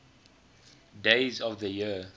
days of the year